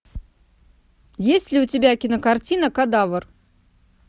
есть ли у тебя кинокартина кадавр